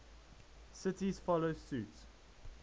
cities follow suit